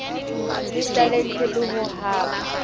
le talente le ho ba